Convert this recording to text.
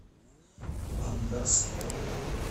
ангарске